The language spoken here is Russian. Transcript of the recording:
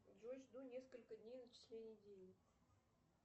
джой жду несколько дней начисления денег